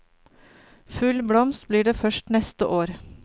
Full blomst blir det først neste år.